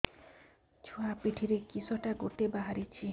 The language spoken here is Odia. ଛୁଆ ପିଠିରେ କିଶଟା ଗୋଟେ ବାହାରିଛି